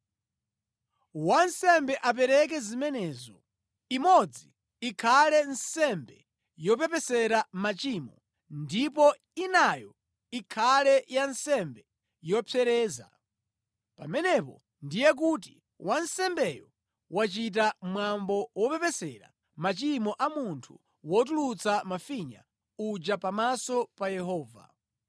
Wansembe apereke zimenezo: imodzi ikhale nsembe yopepesera machimo ndipo inayo ikhale ya nsembe yopsereza. Pamenepo ndiye kuti wansembeyo wachita mwambo wopepesera machimo a munthu wotulutsa mafinya uja pamaso pa Yehova.